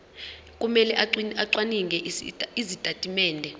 kumele acwaninge izitatimende